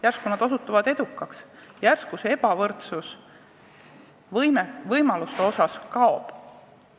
Järsku nad osutuvad edukaks, järsku see ebavõrdsus võimaluste osas kaob!